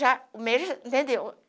Já o médico... Entendeu?